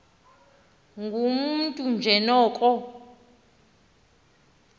ngumntu nje noko